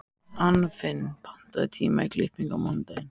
Anfinn, pantaðu tíma í klippingu á mánudaginn.